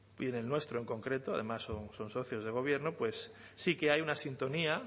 y en el nuestro en concreto además son socios de gobierno pues sí que hay una sintonía